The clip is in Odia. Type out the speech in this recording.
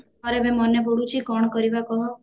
ଆରେ ଏବେ ମନେ ପଡୁଛି କଣ କରିବା କହ